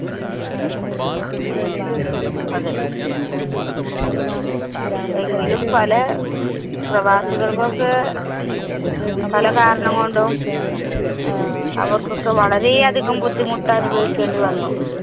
അതെ എങ്കിലും പല പ്രവാസികള്‍ക്കൊക്കെ പല കാരണം കൊണ്ടും അവര്‍ക്കൊക്കെ വളരെയധികം ബുദ്ധിമുട്ടനുഭവിക്കേണ്ടി വന്നു.